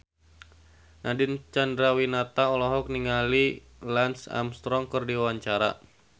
Nadine Chandrawinata olohok ningali Lance Armstrong keur diwawancara